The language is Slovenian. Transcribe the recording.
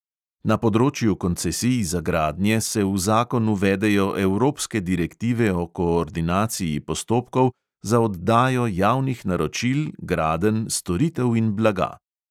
Na področju koncesij za gradnje se v zakon uvedejo evropske direktive o koordinaciji postopkov za oddajo javnih naročil gradenj, storitev in blaga.